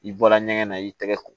I bɔra ɲɛgɛn na i tɛgɛ ko